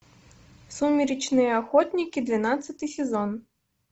сумеречные охотники двенадцатый сезон